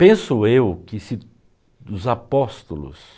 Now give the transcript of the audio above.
Penso eu que se dos apóstolos